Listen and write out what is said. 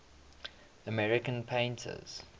american painters